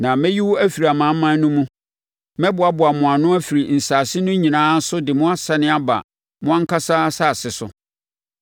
“ ‘Na mɛyi wo afiri amanaman no mu, mɛboaboa mo ano afiri nsase no nyinaa so de mo asane aba mo ankasa asase so.